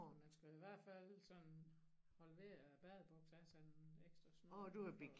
Man skal i hvert fald sådan holde ved æ badebuks have sådan en ekstra snor